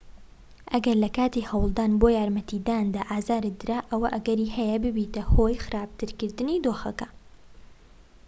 ئەگەر لەکاتی هەوڵدان بۆ یارمەتیداندا ئازارت درا ئەوا ئەگەری هەیە ببیتە هۆی خراپترکردنی دۆخەکە